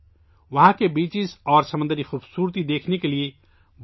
لوگوں کی بڑی تعداد وہاں کے ساحلوں اور سمندر کی خوبصورتی کو دیکھنے آتی ہے